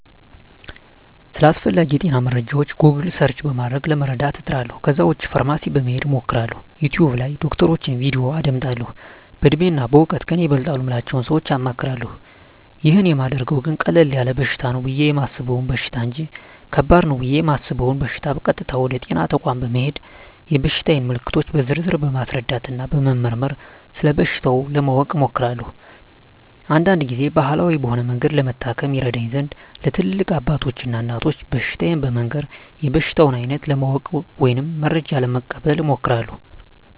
ስለ አስፈላጌ የጤና መረጃወች "ጎግል" ሰርች" በማድረግ ለመረዳት እጥራለሁ ከዛ ውጭ ፋርማሲ በመሄድ አማክራለሁ፣ "ዩቲውብ" ላይ የዶክተሮችን "ቪዲዮ" አዳምጣለሁ፣ በእድሜና በእውቀት ከኔ ይበልጣሉ ምላቸውን ሰወች አማክራለሁ። ይህን ማደርገው ግን ቀለል ያለ በሽታ ነው ብየ የማሰበውን በሽታ እንጅ ከባድ ነው ብየ እማስበውን በሸታ ቀጥታ ወደ ጤና ተቋም በመሄድ የበሽታየን ምልክቶች በዝርዝር በማስረዳትና በመመርመር ስለበሽታው ለማወቅ እሞክራለሁ። አንዳንድ ግዜም ባህላዊ በሆነ መንገድ ለመታከም ይረዳኝ ዘንድ ለትላልቅ አባቶች እና እናቶች በሽታየን በመንገር የበሽታውን አይነት ለማወቅ ወይም መረጃ ለመቀበል እሞክራለሁ።